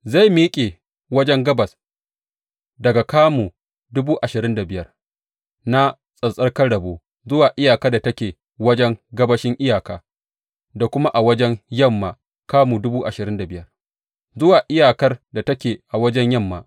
Zai miƙe wajen gabas daga kamu dubu ashirin da biyar na tsattsarkan rabo zuwa iyakar da take wajen gabashin iyaka, da kuma a wajen yamma kamu dubu ashirin da biyar zuwa iyakar da take a wajen yamma.